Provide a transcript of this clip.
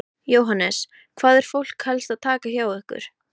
Jóhannes: Hvað er fólk helst að taka hjá ykkur?